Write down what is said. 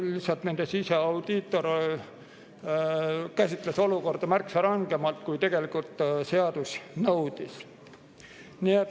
Lihtsalt nende siseaudiitor käsitles olukorda märksa rangemalt, kui seadus nõudis.